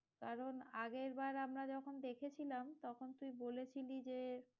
কারণ আগের বার আমরা যখন দেখেছিলাম, তখন তুই বলেছিলি যে,